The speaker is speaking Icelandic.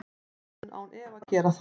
Hann mun án efa gera það.